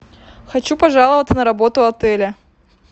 хочу пожаловаться на работу отеля